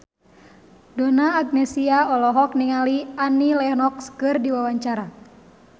Donna Agnesia olohok ningali Annie Lenox keur diwawancara